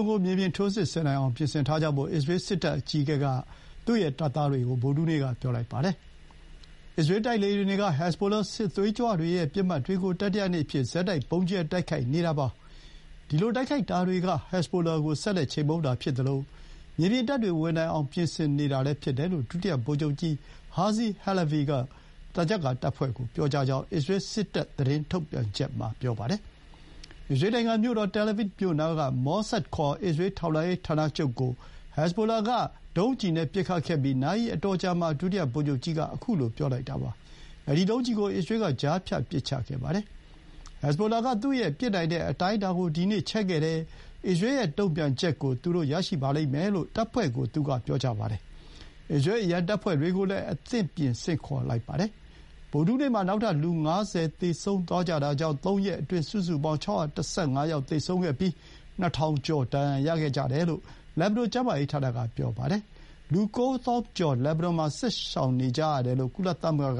ကို မြေပြင်ထိုးစစ်ဆင်နိုင်အောင် ပြင်ထားကြဖို့ အစ္စရေးစစ်တပ်အကြီးအကဲက တပ်သားတွေကို ဗုဒ္ဓဟူးနေ့က ပြောလိုက်ပါတယ်။ အစ္စရေးတိုက်လေယာဥ်တွေက ဟက်ဇ်ဘိုလာ စစ်သွေးကြွတွေရဲ့ ပစ်မှတ်တွေကို တတိယနေ့အဖြစ် ဆက်တိုက် ဗုံးကြဲတိုက်ခိုက်နေတာပါ။ ဒီလိုတိုက်ခိုက်တာတွေက ဟက်ဇ်ဘိုလာကို ဆက်လက်ချေမှုန်းတာဖြစ်သလို မြေပြင်တပ်တွေဝင်နိုင်အောင် ပြင်ဆင်နေတာလည်း ဖြစ်တယ်လို့ ဒုတိယ ဗိုလ်ချုပ်ကြီး Herzi Halevi က သံချပ်ကာတပ်ဖွဲ့ကို ပြောကြားကြောင်း အစ္စရေးစစ်တပ် သတင်းထုတ်ပြန်ချက်မှာ ဆိုပါတယ်။ အစ္စရေးနိုင်ငံမြို့တော် တဲလ်အဗစ်မြို့နားက ထောက်လှမ်းရေး မောဆတ်ဌာနချုပ်ကို ဟက်ဇ်ဘိုလာက ပဲ့ထိန်းတပ်ဒုံးကျည်နဲ့ပစ်ခတ်ခဲ့ပြီး နာရီအတော်ကြာမှာ ဒုတိယဗိုလ်ချုပ်ကြီးက ခုလို ပြောလိုက်တာပါ။ အဲဒီ ဒုံးကျည်ကိုတော့ အစ္စရေးက ကြားဖြတ်ပစ်ချခဲ့ပါတယ်။ ‘ဟက်ဇ်ဘိုလာက သူ့ရဲ့ပစ်နိုင်တဲ့အတိုင်းအတာကို ဒီနေ့ ချဲ့ခဲ့တယ်။ ဒီနေ့ နှောင်းပိုင်းမှာပဲ တုံ့ပြန်တာကို သူတို့ရလိမ့်မယ်’ လို့ တပ်ဖွဲ့ကို သူက ပြောပါတယ်။ အစ္စရေးအရံတပ်ဖွဲ့တွေကိုလည်း အသင့်ပြင် ဆင့်ခေါ်လိုက်ပါတယ်။ ဗုဒ္ဓဟူးနေ့မှာ နောက်ထပ် လူ ၅၀ သေဆုံးသွားတာကြောင့် ၃ ရက်အတွင်း စုစုပေါင်း ၆၁၅ ယောက် သေဆုံးခဲ့ပြီး ၂,၀၀၀ ကျော် ဒဏ်ရာ ရခဲ့ကြတယ်လို့ လက်ဘနွန်ကျန်းမာရေး ဌာနက ပြောပါတယ်။ လူ ၉ သောင်းကျော် စစ်ရှောင်နေကြရတယ်လို့ ကုလသမဂ္ဂက